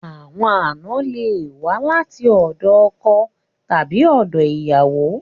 Àwọn àna le wa láti òdọ ọkọ tàbí òdọ ìyàwó